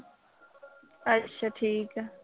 ਅੱਛਾ, ਠੀਕ ਆ।